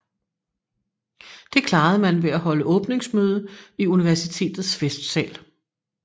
Det klarede man ved at holde åbningsmøde i universitetets festsal